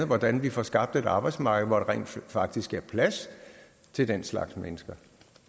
hvordan vi får skabt et arbejdsmarked hvor der rent faktisk er plads til den slags mennesker